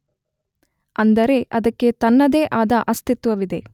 ಅಂದರೆ ಅದಕ್ಕೆ ತನ್ನದೇ ಆದ ಅಸ್ತಿತ್ವವಿದೆ.